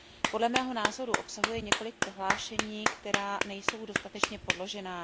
Podle mého názoru obsahuje několik prohlášení, která nejsou dostatečně podložena.